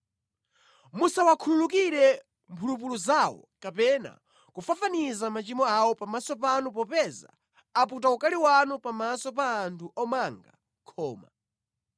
Musawakhululukire mphulupulu zawo kapena kufafaniza machimo awo pamaso panu popeza aputa ukali wanu pamaso pa anthu omanga khoma.”